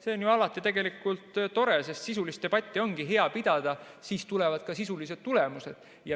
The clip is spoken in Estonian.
See on ju alati tore, sest sisulist debatti ongi hea pidada, siis tulevad ka sisulised tulemused.